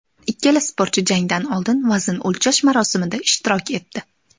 Ikkala sportchi jangdan oldin vazn o‘lchash marosimida ishtirok etdi.